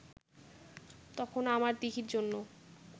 তখনো আমার দিঘির জন্য